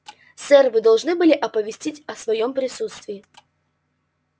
сэр вы должны были оповестить о своём присутствии